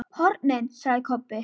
HORNIN, sagði Kobbi.